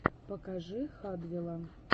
покажи хадвела